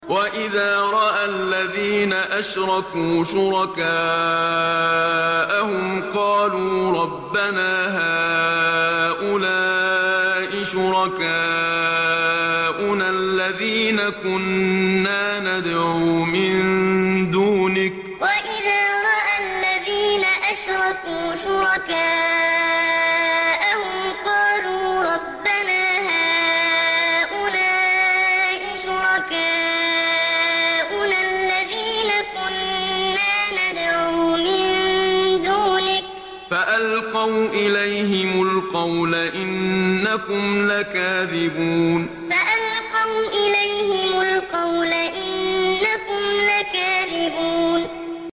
وَإِذَا رَأَى الَّذِينَ أَشْرَكُوا شُرَكَاءَهُمْ قَالُوا رَبَّنَا هَٰؤُلَاءِ شُرَكَاؤُنَا الَّذِينَ كُنَّا نَدْعُو مِن دُونِكَ ۖ فَأَلْقَوْا إِلَيْهِمُ الْقَوْلَ إِنَّكُمْ لَكَاذِبُونَ وَإِذَا رَأَى الَّذِينَ أَشْرَكُوا شُرَكَاءَهُمْ قَالُوا رَبَّنَا هَٰؤُلَاءِ شُرَكَاؤُنَا الَّذِينَ كُنَّا نَدْعُو مِن دُونِكَ ۖ فَأَلْقَوْا إِلَيْهِمُ الْقَوْلَ إِنَّكُمْ لَكَاذِبُونَ